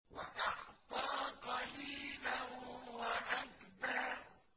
وَأَعْطَىٰ قَلِيلًا وَأَكْدَىٰ